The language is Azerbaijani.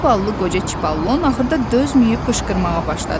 Zavallı qoca Çipallon axırda dözməyib qışqırmağa başladı: